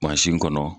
kɔnɔ